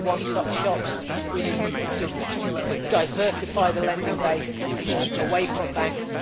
We need one stop shops, we need to diversify the lending base away from banks